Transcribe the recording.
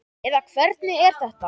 eða hvernig er þetta?